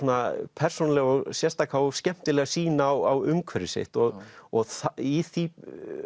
persónulega sérstaka og skemmtilega sýn á umhverfi sitt og og í því